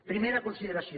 primera consideració